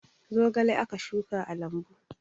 Zogale aka shuka a lambu